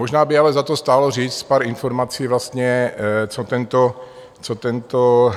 Možná by ale stálo za to říct pár informací, co tento